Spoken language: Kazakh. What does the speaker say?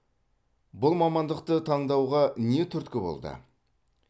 бұл мамандықты таңдауға не түрткі болды